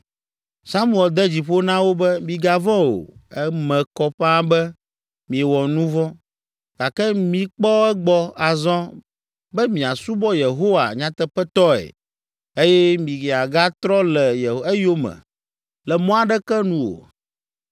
Samuel de dzi ƒo na wo be, “Migavɔ̃ o, eme kɔ ƒãa be miewɔ nu vɔ̃, gake mikpɔ egbɔ azɔ be miasubɔ Yehowa nyateƒetɔe eye miagatrɔ le eyome le mɔ aɖeke nu o.